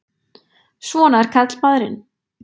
Svona er karlmaðurinn!